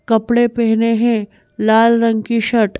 कपड़े पहने है लाल रंग की शर्ट --